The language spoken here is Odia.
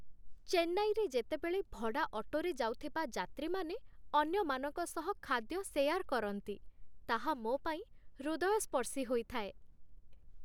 ଚେନ୍ନାଇରେ ଯେତେବେଳେ ଭଡ଼ା ଅଟୋରେ ଯାଉଥିବା ଯାତ୍ରୀମାନେ ଅନ୍ୟମାନଙ୍କ ସହ ଖାଦ୍ୟ ସେୟାର୍ କରନ୍ତି, ତାହା ମୋପାଇଁ ହୃଦୟସ୍ପର୍ଶୀ ହୋଇଥାଏ।